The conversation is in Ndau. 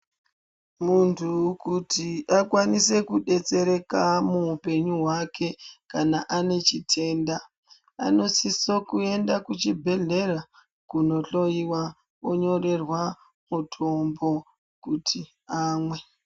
Muntu kuti akwanise kudetsereka muupenyu hwake kana ane chitenda anosiso kuenda kuchibhedhlera kunohloyiwa onyorerwa mutombo kuti amwe